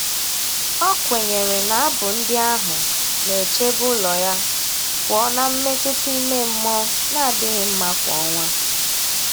O kwenyere na abụ ndị ahụ na-echebe ụlọ ya pụọ na mmetụta ime mmụọ na-adịghị mma kwa ọnwa.